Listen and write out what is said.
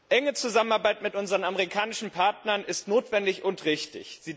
Enge Zusammenarbeit mit unseren amerikanischen Partnern ist notwendig und richtig.